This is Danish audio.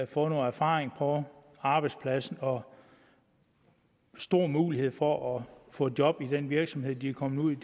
får noget erfaring på arbejdsmarkedet og stor mulighed for at få job i den virksomhed de er kommet i